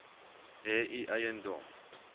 hê u eiendom